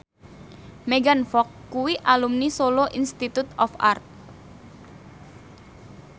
Megan Fox kuwi alumni Solo Institute of Art